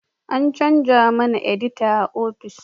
An chanza mana edita a ofis